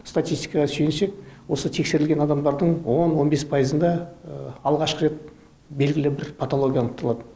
статистикаға сүйінсек осы тексерілген адамдардың он он бес пайызында алғашқы рет белгілі бір патология анықталады